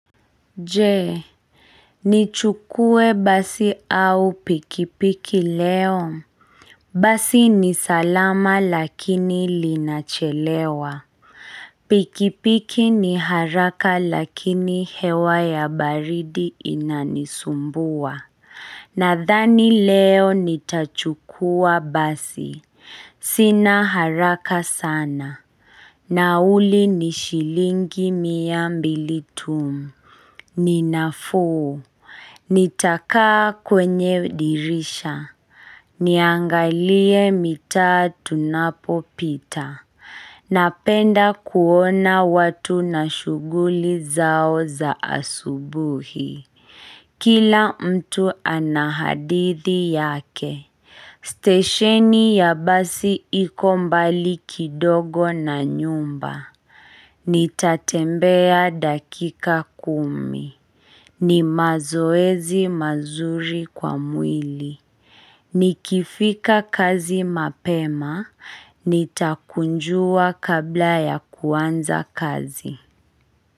Je, nichukue basi au pikipiki leo. Basi ni salama lakini linachelewa. Pikipiki ni haraka lakini hewa ya baridi inanisumbua. Nadhani leo nitachukua basi. Sina haraka sana. Nauri ni shilingi miambili tuu. Ninafuu, nitakaa kwenye dirisha Niangalie mitaa tunapo pita Napenda kuona watu na shughuli zao za asubuhi Kila mtu ana hadithi yake Stesheni ya basi iko mbali kidogo na nyumba Nitatembea dakika kumi ni mazoezi mazuri kwa mwili Nikifika kazi mapema, nitakunjua kabla ya kuanza kazi.